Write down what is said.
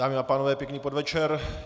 Dámy a pánové, pěkný podvečer.